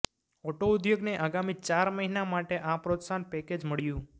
auto ઉદ્યોગને આગામી ચાર મહિના માટે આ પ્રોત્સાહન પેકેજ મળ્યું છે